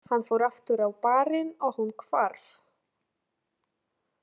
Hann fór aftur á barinn og hún hvarf.